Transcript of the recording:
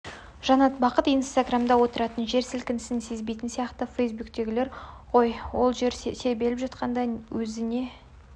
жанат бақыт инстаграмда отыратындар жер сілкінісін сезбейтін сияқты фейсбуктегілер ғой ол жер тербеліп жатқанда өзі не